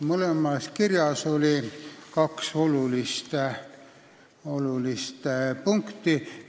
Mõlemas kirjas oli kaks olulist punkti.